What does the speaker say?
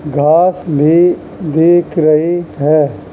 घास भी दीख रही है।